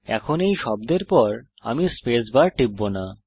এখন এই শব্দের পর আমি স্পেস বার টিপব না